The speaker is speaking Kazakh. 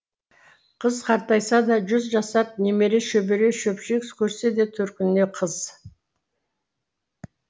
қыз қартайса да жүз жасап немере шөбере шөпшек көрсе де төркініне қыз